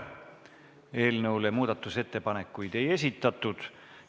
Eelnõu kohta muudatusettepanekuid ei esitatud.